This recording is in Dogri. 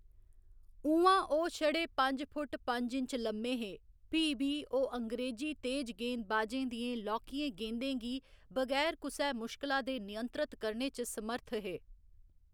उ'आं ओह्‌‌ छड़े पंज फुट्ट पंज इंच लम्मे हे, फ्ही बी ओह्‌‌ अंग्रेजी तेज गेंदबाजें दियें लौह्‌‌‌कियें गेंदें गी बगैर कुसै मुश्कला दे नियंत्रत करने च समर्थ हे।